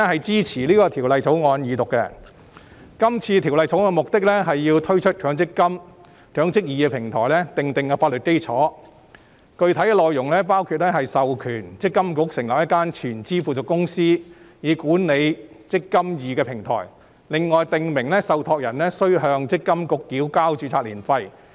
這項《條例草案》的目的是為推出"積金易"平台訂定法律基礎，具體內容包括授權強制性公積金計劃管理局成立一間全資附屬公司，管理"積金易"平台及訂明受託人須向積金局繳交註冊年費。